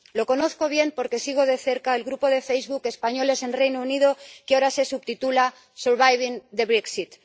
Lo conozco bien porque sigo de cerca el grupo de Facebook Españoles en Reino Unido, que ahora se subtitula Surviving Brexit.